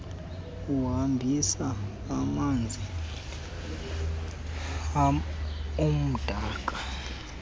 ohambisa amanzi amdaka